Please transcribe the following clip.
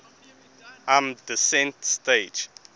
lm descent stage